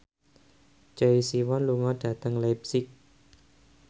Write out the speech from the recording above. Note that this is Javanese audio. Choi Siwon lunga dhateng leipzig